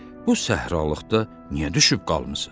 Bu səhralıqda niyə düşüb qalmısız?